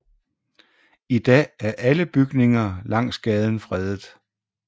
I dag er alle bygninger langs gaden fredet